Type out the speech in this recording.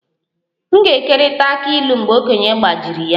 M ga-ekerịta akị ịlu mgbe okenye gbajiri ya